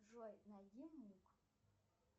джой найди мук